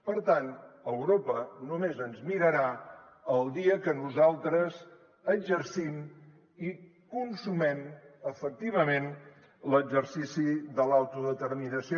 per tant europa només ens mirarà el dia que nosaltres exercim i consumem efectivament l’exercici de l’autodeterminació